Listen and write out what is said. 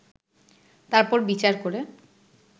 তারপর বিচার করে